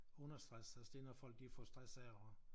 Understress altså det når folk de får stress af at